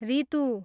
Ritu